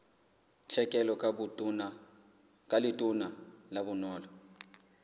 tlhekelo ka letona la bonono